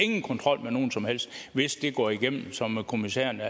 ikke kontrol med nogen som helst hvis det går igennem som kommissærerne